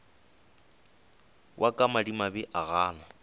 wa ka madimabe o gana